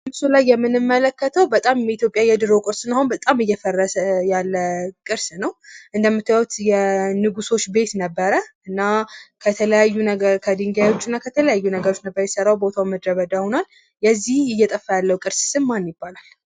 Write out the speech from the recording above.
በምስሉ ላይ የምንመለከተው በጣም የኢትዮጵያ የድሮ ቅርስ ስለሆነ በጣም እየፈረሰ ያለ ቅርስ ነው። እንደምታዩት የንጉሶች ቤት ነበረ። እና ከተለያዩ ነገር ከድንጋዮች እና ከተለያዩ ነገሮች ነበር የተሰራው። የዚህ እየጠፋ ያለው ቅርስ ስም ማን ይባላል?